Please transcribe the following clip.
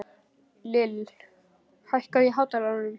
Lill, hækkaðu í hátalaranum.